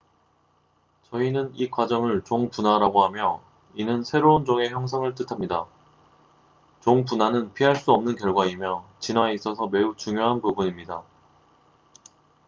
저희는 이 과정을 종 분화speciation라고 하며 이는 새로운 종의 형성을 뜻합니다. 종 분화는 피할 수 없는 결과이며 진화에 있어서 매주 중요한 부분입니다